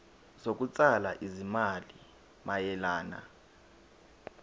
zokutshala izimali mayelana